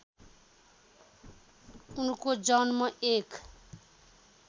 उनको जन्म १